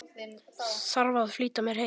Þarf að flýta mér heim.